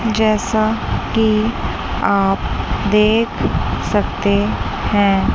जैसा कि आप देख सकते हैं--